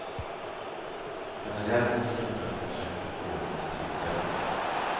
Han är däremot fruktansvärt trött på ordningspolisen.